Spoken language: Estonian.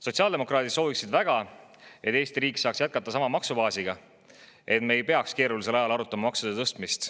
Sotsiaaldemokraadid sooviksid väga, et Eesti riik saaks jätkata sama maksubaasiga, et me ei peaks keerulisel ajal arutama maksude tõstmist.